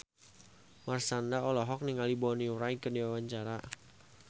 Marshanda olohok ningali Bonnie Wright keur diwawancara